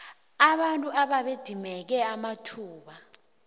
abantu ababedimeke amathuba